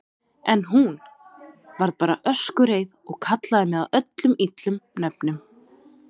En hún. varð bara öskureið og kallaði mig öllum illum nöfnum.